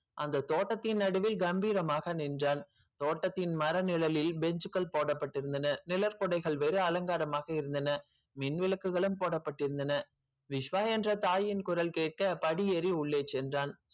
அந்த தோட்டத்தின் நடுவே கம்பீரமாக நின்றான் தோட்டத்தின் மர நிழலில் bench கள் போடப்பட்டிருந்தன நிழற்குடைகள் வேறு அலங்காரமாக இருந்தன மின் விளக்குகளும் போடப்பட்டிருந்தன விஷ்வா என்ற தாயின் குரல் கேட்க படியேறி உள்ளே சென்றான்